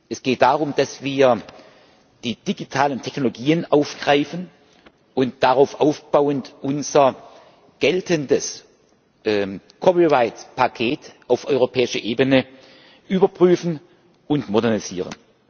Es geht darum, dass wir die digitalen Technologien aufgreifen und darauf aufbauend unser geltendes Copyright Paket auf europäischer Ebene überprüfen und modernisieren.